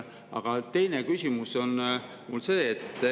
Aga teine küsimus on mul see.